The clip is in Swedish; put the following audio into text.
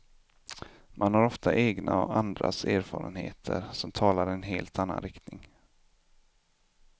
Man har ofta egna och andras erfarenheter, som talar i en helt annan riktning.